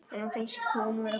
Henni finnst hún góð núna.